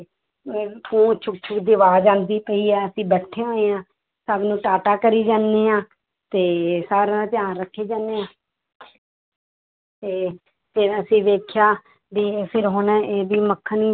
ਅਹ ਆਵਾਜ਼ ਆਉਂਦੀ ਪਈ ਹੈ ਅਸੀਂ ਬੈਠੇ ਹੋਏ ਹਾਂ ਸਾਨੂੰ ਟਾਟਾ ਕਰੀ ਜਾਂਦੇ ਹਾਂ ਤੇ ਸਾਰਿਆਂ ਦਾ ਧਿਆਨ ਰੱਖੀ ਜਾਂਦੇ ਹਾਂ ਤੇ ਫਿਰ ਅਸੀਂ ਵੇਖਿਆ ਵੀ ਫਿਰ ਹੁਣ ਇਹਦੀ ਮੱਖਣੀ